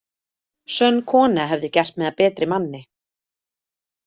Sönn kona hefði gert mig að betri manni.